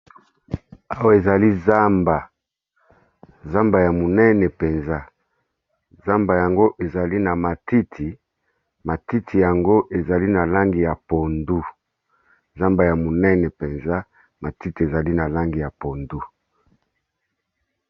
Awa ezali zamba, zamba ya monene mpenza zamba yango ezali na matiti. Matiti yango ezali na langi ya pondu, zamba ya monene mpenza matiti ezali na langi ya pondu.